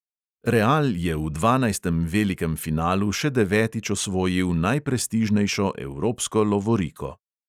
Real je v dvanajstem velikem finalu še devetič osvojil najprestižnejšo evropsko lovoriko.